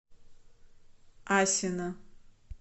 асино